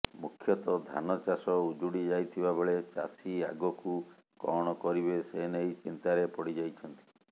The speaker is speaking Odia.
ମୁଖ୍ୟତଃ ଧାନ ଚାଷ ଉଜୁଡି ଯାଇଥିବା ବେଳେ ଚାଷୀ ଆଗକୁ କଣ କରିବେ ସେନେଇ ଚିନ୍ତାରେ ପଡିଯାଇଛନ୍ତି